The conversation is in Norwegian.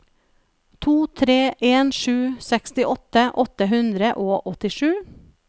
to tre en sju sekstiåtte åtte hundre og åttisju